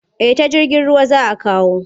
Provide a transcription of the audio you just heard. Eh ta jirgin ruwa za a kawo.